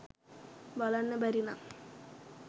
බලන්න බැරි නම්